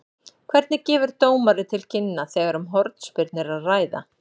Hvernig gefur dómari til kynna þegar um hornspyrnu er að ræða?